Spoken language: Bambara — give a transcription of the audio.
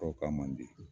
Tɔw ka man di